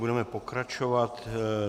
Budeme pokračovat.